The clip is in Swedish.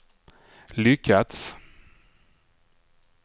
lyckats